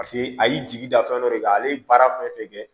Paseke a y'i jigi da fɛn dɔ de kan ale ye baara fɛn fɛn kɛ